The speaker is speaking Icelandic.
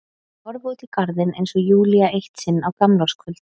Ég horfi út í garðinn eins og Júlía eitt sinn á gamlárskvöld.